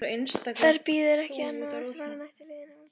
Þar bíður ekki annað en svartnætti liðinna alda.